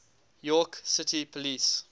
york city police